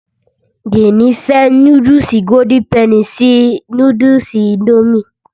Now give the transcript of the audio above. Jéènì fẹ́ núdùsì golden penny sí núdùsì indomie